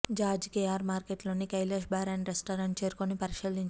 George KR market లోని Kailash bar and restaurant చేరుకుని పరిశీలించారు